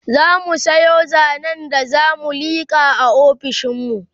zamu Sayo zanen da zamu liƙa a ofishinmu